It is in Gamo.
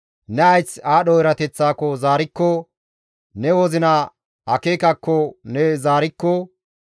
ne hayth aadho erateththaako zaarikko, ne wozina akeekakko ne zaarikko,